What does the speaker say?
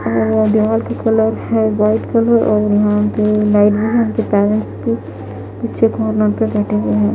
Colour है white colour और यहाँ पे नाइट भी है उनके पेरेंट्स भी पीछे कॉर्नर पे बैठे हुए हैं।